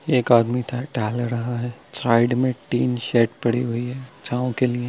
एक आदमी ट-टहल रहा है साइड में टीन सेड पड़ी हुई है छाँव के लिए।